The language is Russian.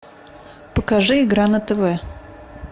покажи игра на тв